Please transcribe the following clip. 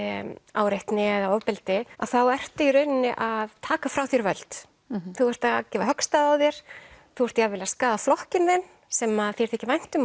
áreitni eða ofbeldi að þá ertu í rauninni að taka frá þér völd þú ert að gefa höggstað á þér þú ert jafnvel að skaða flokkinn þinn sem að þér þykir vænt um